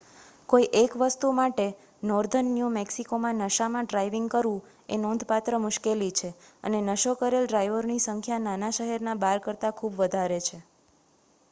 કોઈ એક વસ્તુ માટે નોર્ધન ન્યુ મેક્સિકોમાં નશામાં ડ્રાઇવિંગ કરવું એ નોંધપાત્ર મુશ્કેલી છે અને નશો કરેલ ડ્રાઈવરો ની સંખ્યા નાના-શહેરના બાર કરતાં ખૂબ વધારે છે